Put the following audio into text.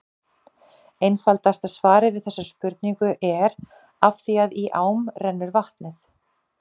Einfaldasta svarið við þessari spurningu er: Af því að í ám rennur vatnið!